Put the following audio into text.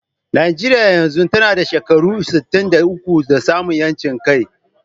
Najeriya yanzu tana da shekaru sittin da uku da samun ƴancin kai.